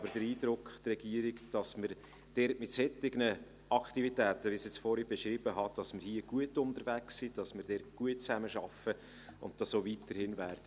Die Regierung hat aber den Eindruck, dass wir dort mit den Aktivitäten, wie ich sie vorhin beschrieben habe, gut unterwegs sind, dass wir dort gut zusammenarbeiten und dies auch weiterhin tun werden.